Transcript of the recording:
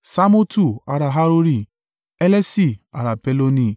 Ṣamotu ará Harori, Helesi ará Peloni